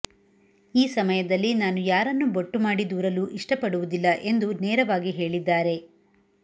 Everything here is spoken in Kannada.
ಈ ಸಮಯದಲ್ಲಿ ನಾನು ಯಾರನ್ನು ಬೊಟ್ಟು ಮಾಡಿ ದೂರಲು ಇಷ್ಟಪಡುವುದಿಲ್ಲ ಎಂದು ನೇರವಾಗಿ ಹೇಳಿದ್ದಾರೆ